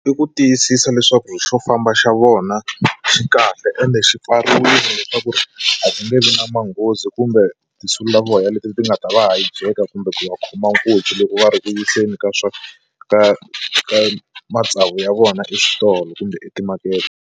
I ku tiyisisa leswaku xo famba xa vona xi kahle ende xi pfariwile leswaku ri a ku nge vi na manghozi kumbe tinsulavoya leti ti nga ta va hijack kumbe ku va khoma nkunzi loko va ri ku vuyiseni ka swa ka ka matsavu ya vona exitolo kumbe etimakete.